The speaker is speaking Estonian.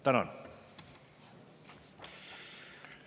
Tänan!